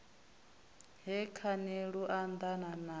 he khani lu anḓana nayo